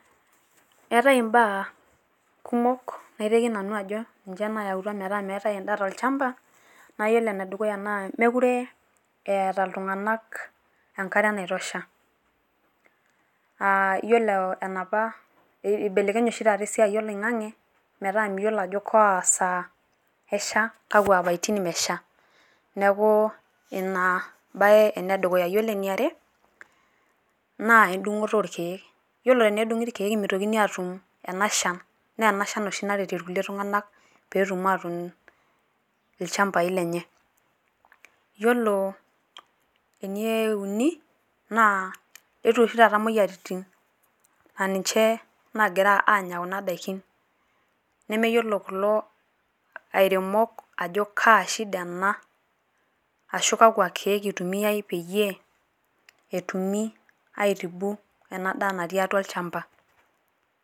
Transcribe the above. Eetae imbaa kumok naiteki nanu ajo ninche nayautua metaa meetai endaa tolchamba. Naa iyiolo ene dukuya naa, meekure eeta iltung`anak enkare nai tosha aa iyiolo enapa eibelekenye oshi taata esiai oloing`ang`e. Metaa miyiolo ajo kaa saa esha kakwa apaitin imesha niaku ina embae ene dukuya. Ore eniare naa edung`oto oo ilkiek ore tenedung`i irkiek meitokini aatum ena shan. Naa enasha oshi naret irkulie tung`anak pee etum atuun ilchambai lenye. Yiolo ene uni naa eyetuo oshi taata imoyiaritin aa ninche naagira aanya kuna daiki nemeyiolo kulo airemok ajo kaa shida ena ashu, kakwa kiek eitumiai pee etumi ai tibu ena daa natii atua olchamba.